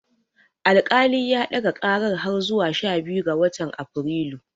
Alkali ya ɗaga ƙarar har zuwa sha biyu ga watan Afrilu.